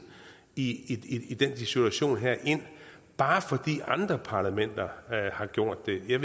i i den situation herind bare fordi andre parlamenter har gjort det jeg